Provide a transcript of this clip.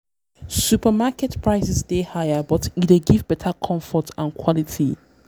supermarket prices dey higher but e dey give better comfort and quality.